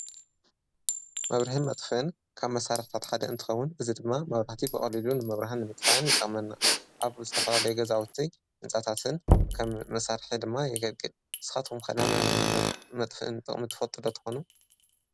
መብርሕን መጥፍን ካብ መሣርሕታት ሓደ እንትኸዉን እዝ ድማ መብራህቲ በቐሊሉ ንመብርህን ምጥፋን ይጠቅመና። ኣብዝተፈላለየ ገዛውቲይ እንጻታትን ከም መሣርሐ ድማ የገልግል። ንስኻቶም ከናይ መብርሔ መጥፍእን ጠቕሚ ትፈጥዶ ትኾኑ?